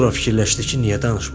Sonra fikirləşdi ki, niyə danışmasın.